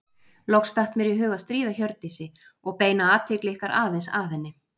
Loks datt mér í hug að stríða Hjördísi og beina athygli ykkar aðeins að henni.